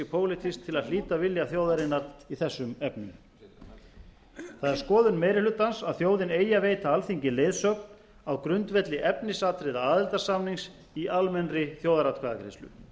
pólitískt til að hlíta vilja þjóðarinnar í þessum efnum það er skoðun meiri hlutans að þjóðin eigi að veita alþingi leiðsögn á grundvelli efnisatriða aðildarsamnings í almennri þjóðaratkvæðagreiðslu